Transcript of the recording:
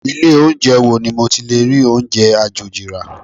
Ilé oúnjẹ wo ni mo ti lè rí oúnjẹ àjòjì rà?